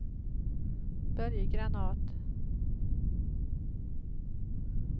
Börje Granath